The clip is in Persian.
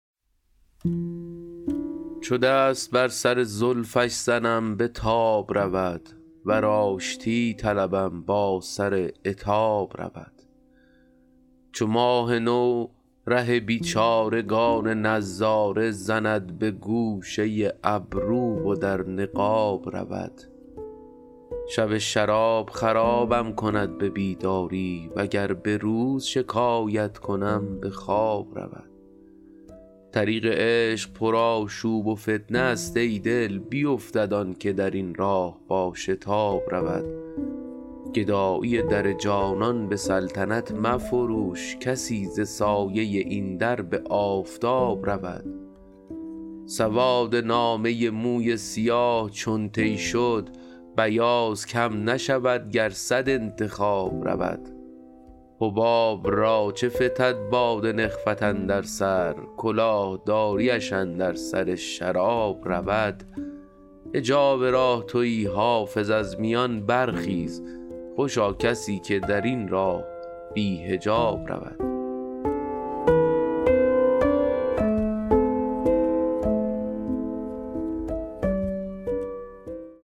چو دست بر سر زلفش زنم به تاب رود ور آشتی طلبم با سر عتاب رود چو ماه نو ره بیچارگان نظاره زند به گوشه ابرو و در نقاب رود شب شراب خرابم کند به بیداری وگر به روز شکایت کنم به خواب رود طریق عشق پرآشوب و فتنه است ای دل بیفتد آن که در این راه با شتاب رود گدایی در جانان به سلطنت مفروش کسی ز سایه این در به آفتاب رود سواد نامه موی سیاه چون طی شد بیاض کم نشود گر صد انتخاب رود حباب را چو فتد باد نخوت اندر سر کلاه داریش اندر سر شراب رود حجاب راه تویی حافظ از میان برخیز خوشا کسی که در این راه بی حجاب رود